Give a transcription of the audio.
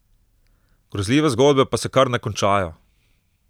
Grozljive zgodbe pa se kar ne končajo.